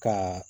Ka